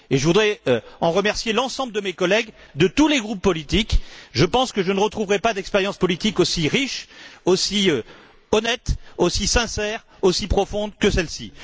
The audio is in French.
Je voudrais en remercier l'ensemble de mes collègues, de tous les groupes politiques. Je pense que je ne retrouverai pas d'expérience politique aussi riche, aussi honnête, aussi sincère, aussi profonde que celle ci.